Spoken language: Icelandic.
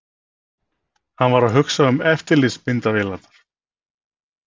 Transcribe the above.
Hann var að hugsa um eftirlitsmyndavélarnar.